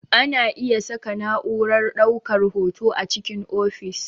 Ana iya saka na'urar ɗaukar hoto a cikin ofis